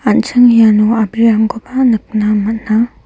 an·ching iano a·brirangkoba nikna man·a.